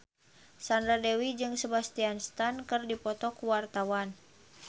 Sandra Dewi jeung Sebastian Stan keur dipoto ku wartawan